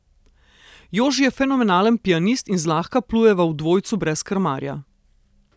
Joži je fenomenalen pianist in zlahka plujeva v dvojcu brez krmarja.